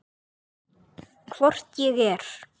Hvort ég er.